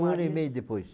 Um ano e meio depois.